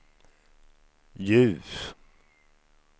ljus